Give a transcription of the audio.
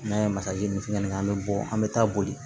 N'an ye masakɛ ni fɛn ɲini an bɛ bɔ an bɛ taa boli